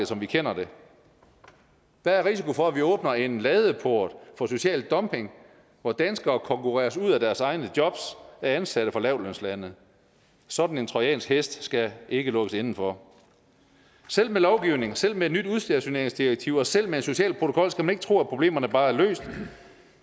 som vi kender det der er risiko for at vi åbner en ladeport for social dumping hvor danskere konkurreres ud af deres egne jobs af ansatte fra lavtlønslande sådan en trojansk hest skal ikke lukkes indenfor selv med lovgivning selv med et nyt udstationeringsdirektiv og selv med en social protokol skal man ikke tro at problemerne bare er løst